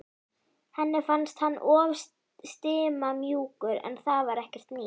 Henni fannst hann of stimamjúkur en það var ekkert nýtt.